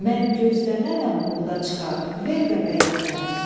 Mən gözləmənəm buğda çıxar, ver bəbəyindən.